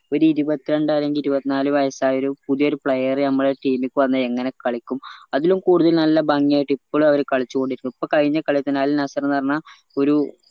ഒരു ഇരുപത്തിരാണ്ടാ അല്ലെങ്കിൽ ഇരുപത്തിനാല് വയസ്സായൊരു പുതിയൊരു player നമ്മളെ team ക്ക് വന്ന എങ്ങനെ കളിക്കും അതിലും കൂടുതല് നല്ല ഭംഗി ആയിട്ട് ഇപ്പളും അവര് കളിച്ചുകൊണ്ടിരിക്കുന്നു എപ്പോ കയിഞ്ഞ കളിതന്നെ അൽ നസറെന്നു പറഞ്ഞ ഒരു